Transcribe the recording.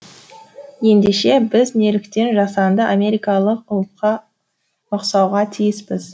ендеше біз неліктен жасанды америкалық ұлтқа ұқсауға тиіспіз